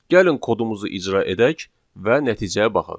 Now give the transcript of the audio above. Gəlin kodumuzu icra edək və nəticəyə baxaq.